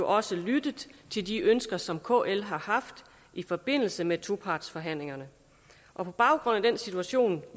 også lyttet til de ønsker som kl har haft i forbindelse med topartsforhandlingerne og på baggrund af den situation